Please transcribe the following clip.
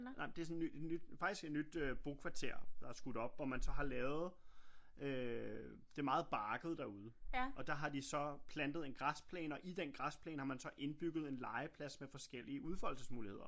Nej men det sådan et nyt faktisk et nyt øh bokvarter der er skudt op hvor man så har lavet øh det er meget bakket derude og der har de så plantet en græsplæne og i den græsplane har man så indbygget en legeplads med forskellige udfoldelsesmuligheder